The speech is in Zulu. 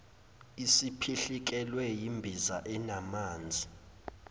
isiphihlikelwe yimbiza enamanzi